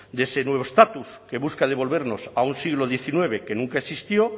de ese nuevo estatus que busca devolvernos a un siglo diecinueve que nunca existió